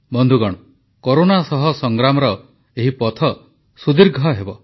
ବନ୍ଧୁଗଣ କରୋନା ସହ ସଂଗ୍ରାମର ଏହି ପଥ ସୁଦୀର୍ଘ ହେବ